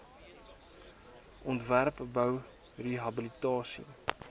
ontwerp bou rehabilitasie